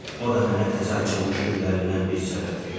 O da mənə təzə açılmış güllərindən bir səbət verər.